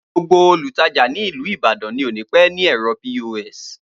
Gbogbo Olùtajà nìlú ìbàdàn ni òní pẹ ní ẹrọ P.O.S.